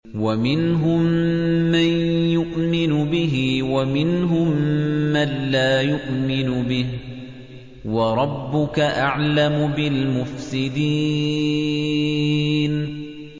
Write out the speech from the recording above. وَمِنْهُم مَّن يُؤْمِنُ بِهِ وَمِنْهُم مَّن لَّا يُؤْمِنُ بِهِ ۚ وَرَبُّكَ أَعْلَمُ بِالْمُفْسِدِينَ